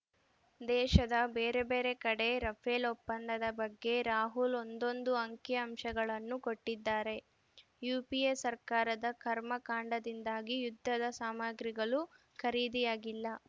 ದೇಶದ ಬೇರೆ ಬೇರೆ ಕಡೆ ರಫೇಲ್‌ ಒಪ್ಪಂದದ ಬಗ್ಗೆ ರಾಹುಲ್‌ ಒಂದೊಂದು ಅಂಕಿಅಂಶಗಳನ್ನು ಕೊಟ್ಟಿದ್ದಾರೆ ಯುಪಿಎ ಸರ್ಕಾರದ ಕರ್ಮಕಾಂಡದಿಂದಾಗಿ ಯುದ್ಧದ ಸಾಮಗ್ರಿಗಳು ಖರೀದಿಯಾಗಿಲ್ಲ